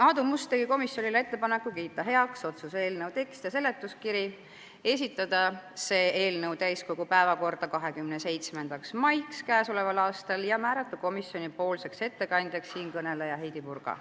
Aadu Must tegi komisjonile ettepaneku kiita heaks otsuse eelnõu tekst ja seletuskiri, esitada see eelnõu täiskogu päevakorda 27. maiks ja määrata komisjoni nimel ettekandjaks Heidy Purga.